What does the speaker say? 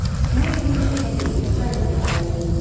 Meybl meşə ilə deyil, çaynan getməyə meyilli idi.